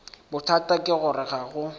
bothata ke gore ga go